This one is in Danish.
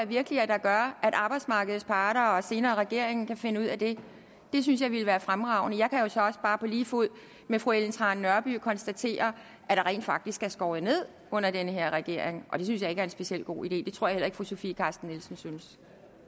virkelig at arbejdsmarkedets parter og senere regeringen kan finde ud af det det synes jeg ville være fremragende jeg kan jo så også bare på lige fod med fru ellen trane nørby konstatere at der rent faktisk er skåret ned under den her regering og det synes jeg ikke er en specielt god idé det tror jeg heller ikke fru sofie carsten nielsen synes